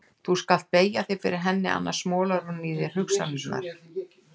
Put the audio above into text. Þú skalt beygja þig fyrir henni, annars molar hún í þér hugsanirnar.